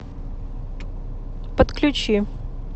подключи